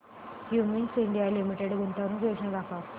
Cummins India limited गुंतवणूक योजना दाखव